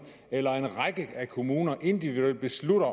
eller en række kommuner individuelt beslutter